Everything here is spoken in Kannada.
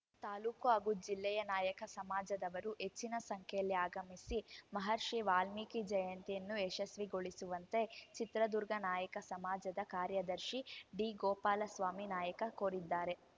ತಾಲೂಕು ಹಾಗೂ ಜಿಲ್ಲೆಯ ನಾಯಕ ಸಮಾಜದವರು ಹೆಚ್ಚಿನ ಸಂಖ್ಯೆಯಲ್ಲಿ ಆಗಮಿಸಿ ಮಹರ್ಷಿ ವಾಲ್ಮೀಕಿ ಜಯಂತಿಯನ್ನು ಯಶಸ್ವಿಗೊಳಿಸುವಂತೆ ಚಿತ್ರದುರ್ಗ ನಾಯಕ ಸಮಾಜದ ಕಾರ್ಯದರ್ಶಿ ಡಿಗೋಪಾಲಸ್ವಾಮಿ ನಾಯಕ ಕೋರಿದ್ದಾರೆ